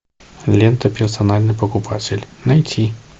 лента персональный покупатель найти